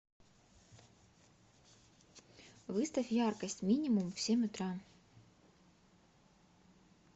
выставь яркость минимум в семь утра